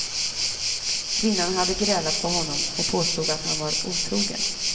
Kvinnan hade grälat på honom och påstod att han var otrogen.